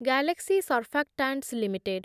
Galaxy surfactants limited